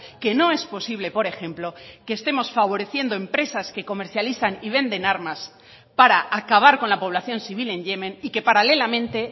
que no es posible por ejemplo que estemos favoreciendo empresas que comercializan y venden armas para acabar con la población civil en yemen y que paralelamente